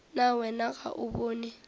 na wena ga o bone